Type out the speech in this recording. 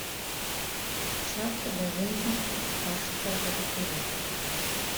шапки для женщин старше сорока пяти лет